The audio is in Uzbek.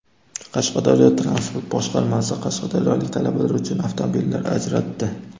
Qashqadaryo transport boshqarmasi qashqadaryolik talabalar uchun avtomobillar ajratdi.